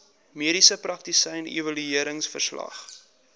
mediese praktisyn evalueringsverslag